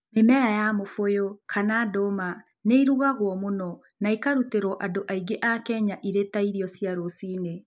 Mĩmera ya mũbũyũ, kana nduma, nĩ ĩrugagio mũno na ĩkarutĩrũo andũ aingĩ a Kenya irio cia rũcinĩ.